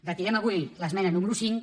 retirem avui l’esmena número cinc